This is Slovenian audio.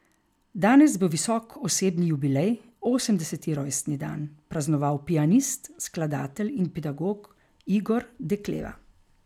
Danes bo visok osebni jubilej, osemdeseti rojstni dan, praznoval pianist, skladatelj in pedagog Igor Dekleva.